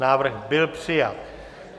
Návrh byl přijat.